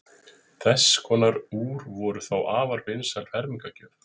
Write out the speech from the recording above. Þess konar úr voru þá afar vinsæl fermingargjöf.